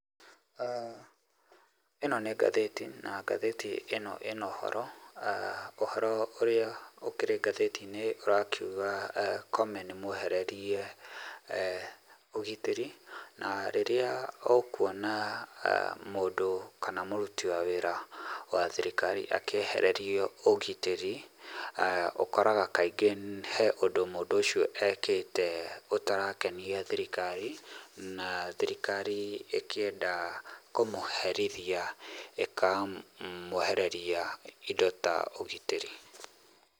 Ĩno nĩ ngathĩti na ngathĩti ĩno ĩ na ũhoro, ah ũhoro ũrĩa ũkĩrĩ ngathĩtiinĩ ũrakiuga Koome nĩ mwehererie ũgitĩri na rĩrĩa ũkuona mũndũ kana mũruti wa wĩra wa thiriikari akĩehererio ũgitĩri, ũkoraga kaingĩ he ũndũ mũndũ ũcio ekĩte ũtarakenia thirikari, na thirikari ĩkĩenda kũmũheritia ĩkamwehereria indo ta ũgitĩri.